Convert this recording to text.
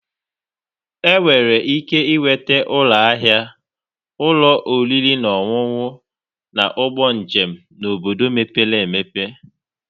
Enwere ike ịnweta ụlọ ahịa, ụlọ oriri na ọṅụṅụ, na ụgbọ njem n'obodo mepere emepe.